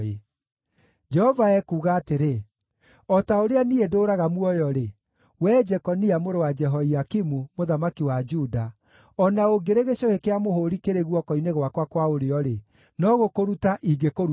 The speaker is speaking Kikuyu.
Jehova ekuuga atĩrĩ, “O ta ũrĩa niĩ ndũũraga muoyo-rĩ, wee Jekonia, mũrũ wa Jehoiakimu mũthamaki wa Juda, o na ũngĩrĩ gĩcũhĩ kĩa mũhũũri kĩrĩ guoko-inĩ gwakwa kwa ũrĩo-rĩ, no gũkũruta ingĩkũruta ho.